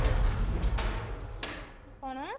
କଣ